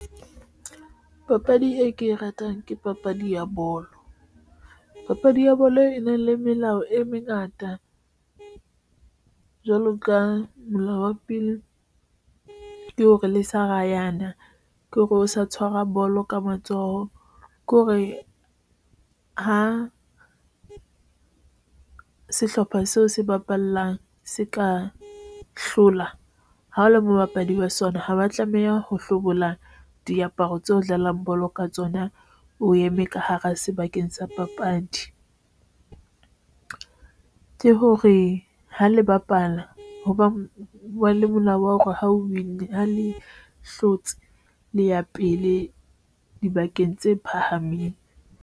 Papadi e ke e ratang ke papadi ya bolo. Papadi ya bolo e na le melao e mengata jwalo ka molao wa pele, ke hore le sa ra yana ke hore o sa tshwara bolo ka matsoho ke hore ho sehlopha seo se bapallang se ka hlola ha o le mo bapadi wa sona. Haba tlameha ho hlobola diaparo tseo dlalang bolo ka tsona o eme ka hara sebakeng sa papadi ke hore ha le bapala hoba wa le molao wa hore ho win ha le hlotse le ya pele dibakeng tse phahameng.